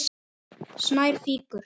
Snær fýkur.